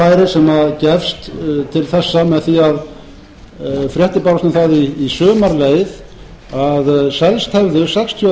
það færi sem gefst til þessa með því að fréttir bárust um það í sumar er leið að selst hafi sextíu og